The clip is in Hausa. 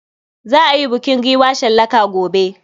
Za a yi bukin giwa shallaka gobe.